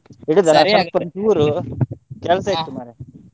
ಒಂದ್ ಚೂರು ಕೆಲ್ಸ ಇತ್ತು ಮಾರ್ರೆ.